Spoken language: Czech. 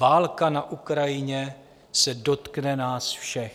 Válka na Ukrajině se dotkne nás všech.